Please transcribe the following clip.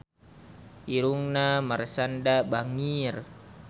Irungna Marshanda bangir